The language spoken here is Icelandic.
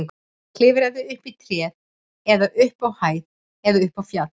Klifraðu upp í tré eða upp á hæð eða upp á fjall.